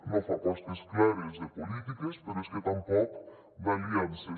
no fa apostes clares de polítiques però és que tampoc d’aliances